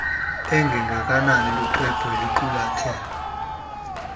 engengakanani luxwebhu oluqulethe